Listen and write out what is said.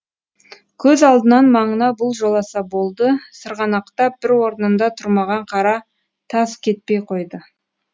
көз алдынан маңына бұл жоласа болды сырғанақтап бір орнында тұрмаған қара тас кетпей қойды